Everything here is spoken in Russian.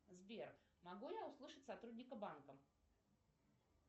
сбер могу я услышать сотрудника банка